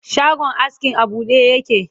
shagon askin a buɗe yake